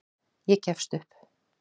Ég gefst upp.